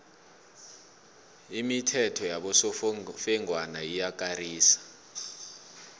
imithetho yabosofengwana iyakarisa